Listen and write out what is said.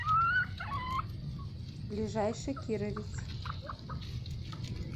ближайший кировец